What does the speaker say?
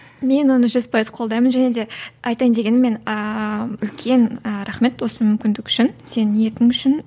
мен оны жүз пайыз қолдаймын және де айтайын дегенім мен ііі үлкен і рахмет осы мүмкіндік үшін сенің ниетің үшін